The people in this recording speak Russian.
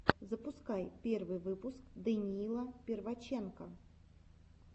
запускай первый выпуск даниила перваченко